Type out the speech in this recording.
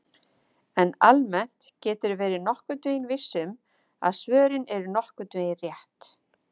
En almennt geturðu verið nokkurn veginn viss um að svörin eru nokkurn veginn rétt!